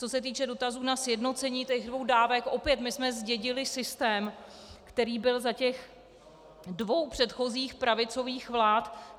Co se týče dotazu na sjednocení těch dvou dávek, opět - my jsme zdědili systém, který byl za těch dvou předchozích pravicových vlád.